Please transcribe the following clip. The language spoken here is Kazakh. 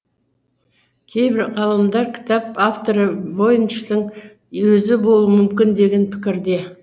кейбір ғалымдар кітап авторы войничтің өзі болуы мүмкін деген пікірде